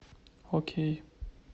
окей